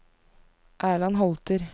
Erland Holter